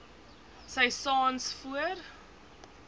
sy saans voor